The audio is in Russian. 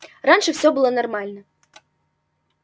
раньше все было нормально